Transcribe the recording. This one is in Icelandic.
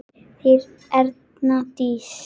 Þín Erna Dís.